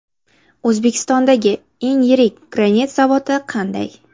O‘zbekistondagi eng yirik granit zavodi qanday?.